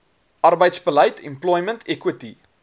arbeidsbeleid employment equity